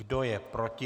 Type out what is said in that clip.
Kdo je proti?